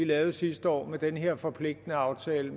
lavede sidste år med den her forpligtende aftale